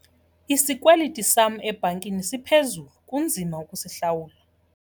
Isikweliti sam ebhankini siphezulu kunzima ukusihlawula.